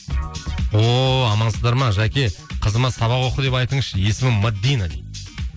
ооо амансыздар ма жәке қызыма сабақ оқы деп айтыңызшы есімі мәдина дейді